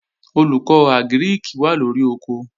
Olùkọ́ Àgírìkì wà lóri oko